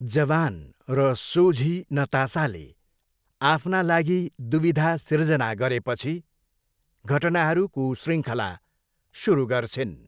जवान र सोझी नतासाले आफ्ना लागि दुविधा सिर्जना गरेपछि घटनाहरूको शृङ्खला सुरु गर्छिन्।